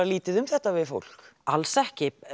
lítið um þetta við fólk alls ekki